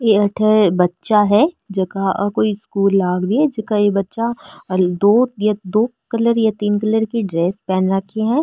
अठे बच्चा है जेका आ कोई स्कूल लाग री है जेका ये बच्चा दो कलर या तीन कलर की ड्रेस पहन रखी है।